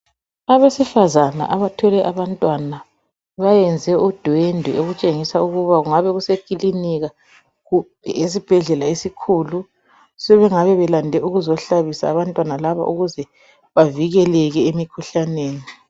Abesifazana abathwele abantwana bayenze udwendwe okutshengisa ukuba kungabe kusekilinika kumbe esibhedlela esikhulu sebengabe belande ukuzohlabisa abantwana laba ukuze bavikeleke emikhuhlaneni.